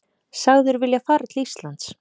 Sagður vilja fara til Íslands